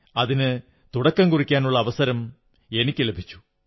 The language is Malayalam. അതിന് തുടക്കം കുറിക്കാനുള്ള അവസരം എനിക്കു ലഭിച്ചു